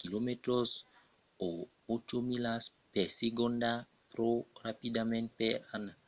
km o 8 milas per segonda pro rapidament per anar de san francisco a los angeles en una minuta